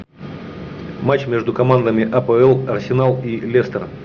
матч между командами апл арсенал и лестер